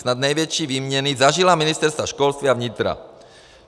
Snad největší výměny zažila ministerstva školství a vnitra.